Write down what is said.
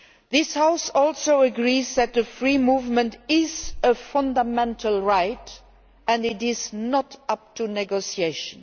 This House also agrees that free movement is a fundamental right and is not open to negotiation.